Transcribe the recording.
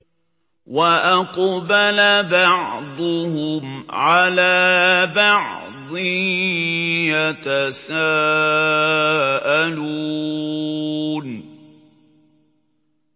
وَأَقْبَلَ بَعْضُهُمْ عَلَىٰ بَعْضٍ يَتَسَاءَلُونَ